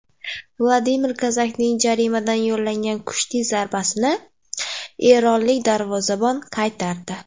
Vladimir Kozakning jarimadan yo‘llagan kuchli zarbasini eronlik darvozabon qaytardi.